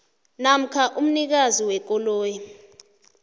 namkha umnikazi wekoloyi